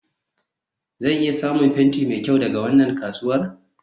zan iya samun fenti mai kyau daga wannan kasuwa?